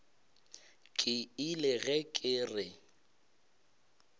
ke ile ge ke re